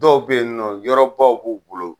Dɔw be yen nɔ yɔrɔbaw b'u bolo